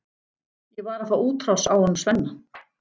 Ég var að fá útrás á honum Svenna.